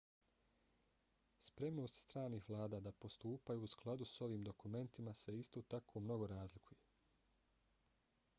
spremnost stranih vlada da postupaju u skladu s ovim dokumentima se isto tako mnogo razlikuje